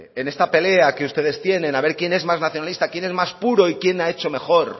en esta pelea que ustedes tienen a ver quién es más nacionalista quién es más puro y quién ha hecho mejor